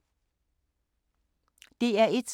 DR1